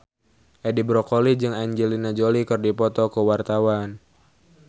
Edi Brokoli jeung Angelina Jolie keur dipoto ku wartawan